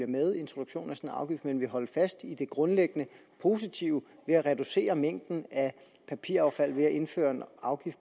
med introduktionen af afgift men vil holde fast i det grundlæggende positive ved at reducere mængden af papiraffald ved at indføre en afgift